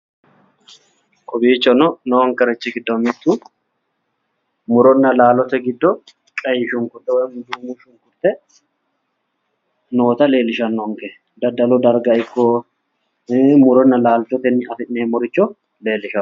Kowiichono nonkerichi gido mitu muronna laallote gido duumo shunkurte noota leelishanonke daddallu darga ikko muronna laallotewinni afi'neemoricho leelishanonke.